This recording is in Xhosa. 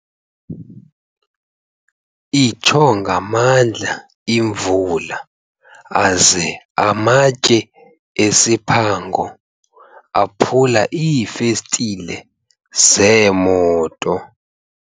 Itsho ngamandla imvula aze amatye esiphango aphula iifestile zeemoto.